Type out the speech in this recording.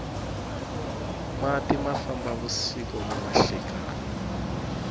mati ma famba vusiku ni nhlekani